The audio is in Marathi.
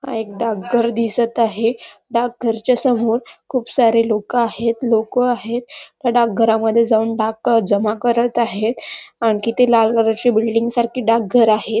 एक डाक घर दिसत आहे डाक घर च्या समोर खूप सारे लोक आहेत लोक आहेत त्या डाकघरामध्ये जाऊन डाक जमा करत आहेत आणखी ते लाल कलर बिल्डिंग सारखी डाक घर आहेत.